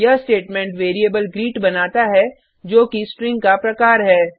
यह statement variable greet बनाता है जो कि स्ट्रिंग का प्रकार है